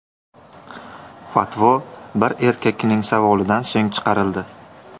Fatvo bir erkakning savolidan so‘ng chiqarildi.